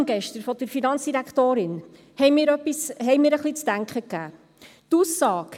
Die gestrige Reaktion der Finanzdirektorin hat mir etwas zu denken gegeben.